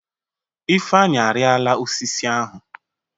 Ifeanyi, arila osisi ahụ!